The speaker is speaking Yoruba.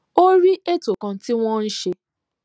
ó rí ètò kan tí wón ń ṣe